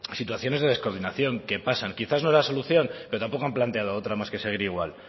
situaciones de descoordinación que pasan quizás no es la solución pero tampoco han planteado otra más que seguir igual